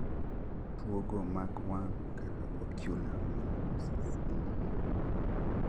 Tuo go mag wang' kaka ocular melanosis bende bedo ga